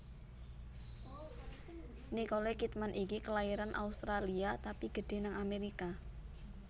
Nicole Kidman iki kelairan Australia tapi gedhe nang Amerika